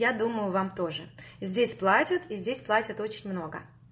я думаю вам тоже здесь платят и здесь платят очень много